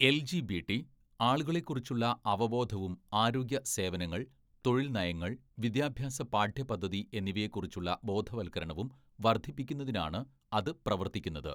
LGBT ആളുകളെ കുറിച്ചുള്ള അവബോധവും ആരോഗ്യ സേവനങ്ങൾ, തൊഴിൽ നയങ്ങൾ, വിദ്യാഭ്യാസ പാഠ്യപദ്ധതി എന്നിവയെക്കുറിച്ചുള്ള ബോധവത്കരണവും വർദ്ധിപ്പിക്കുന്നതിനാണ് അത് പ്രവർത്തിക്കുന്നത്.